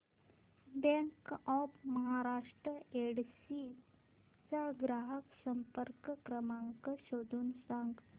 bank of Maharashtra Yedshi चा ग्राहक संपर्क क्रमांक शोधून सांग